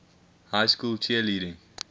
high school cheerleading